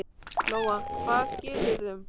Lóa: Hvaða skilyrðum?